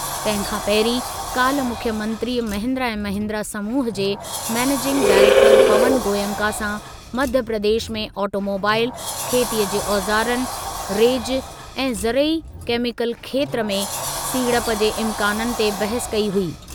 तंहिं खां पहिरीं काल्ह मुख्यमंत्रीअ महिन्द्रा ऐं महिन्द्रा समूह जे मैनेजिंग डाइरेक्टरु पवन गोयन्का सां मध्यप्रदेश में ऑटोमोबाईल, खेतीअ जे औज़ारनि, रेजु ऐं ज़रई केमीकल खेत्रु में सीड़प जे इम्काननि ते बहसु कई हुई।